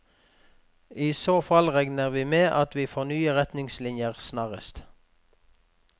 I så fall regner vi med at vi får nye retningslinjer snarest.